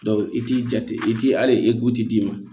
i t'i jate i ti hali d'i ma